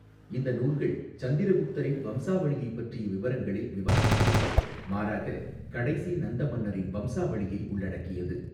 இந்த நூல்கள் சந்திரகுப்தரின் வம்சாவளியைப் பற்றிய விவரங்களை விவாதிக்கவில்லை, மாறாக கடைசி நந்த மன்னரின் வம்சாவளியை உள்ளடக்கியது.